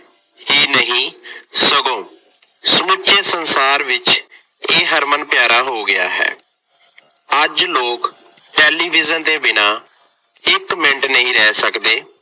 ਹੀ ਨਹੀਂ ਸਗੋਂ ਸਮੁੱਚੇ ਸੰਸਾਰ ਵਿੱਚ ਇਹ ਹਰਮਨ ਪਿਆਰਾ ਹੋ ਗਿਆ ਹੈ। ਅੱਜ ਲੋਕ ਟੈਲੀਵਿਜ਼ਨ ਦੇ ਬਿਨਾ ਇੱਕ ਮਿੰਟ ਨਹੀਂ ਰਹਿ ਸਕਦੇ।